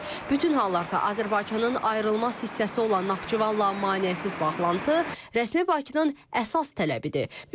Bütün hallarda Azərbaycanın ayrılmaz hissəsi olan Naxçıvanla maneəsiz bağlantı rəsmi Bakının əsas tələbidir.